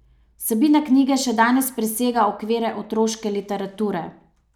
Vsebina knjige še danes presega okvire otroške literature.